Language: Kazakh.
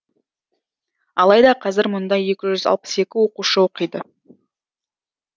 алайда қазір мұнда екі жүз алпыс екі оқушы оқиды